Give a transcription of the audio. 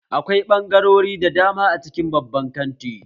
Akwai ɓangarori da dama a cikin babban kanti